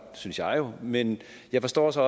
synes jeg jo men jeg forstår så